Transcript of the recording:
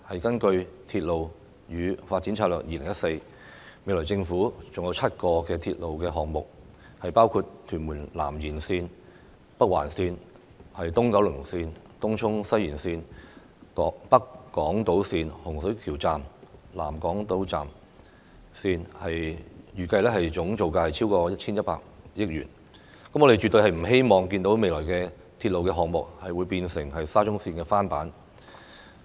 根據《鐵路發展策略2014》，未來政府還有7個鐵路項目，包括屯門南延線、北環線、東九龍線、東涌西延線、北港島線、洪水橋站和南港島線，預計總造價超過 1,100 億元，我們絕對不希望未來的鐵路項目成為沙中線的翻版。